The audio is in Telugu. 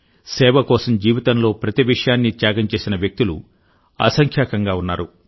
సేవ కోసం జీవితంలో ప్రతి విషయాన్నీ త్యాగం చేసిన వ్యక్తులు అసంఖ్యాకంగా ఉన్నారు